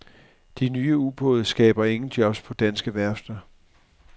De nye ubåde skaber ingen jobs på danske værfter.